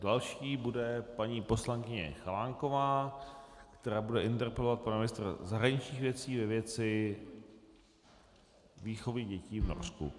Další bude paní poslankyně Chalánková, která bude interpelovat pana ministra zahraničních věcí ve věci výchovy dětí v Norsku.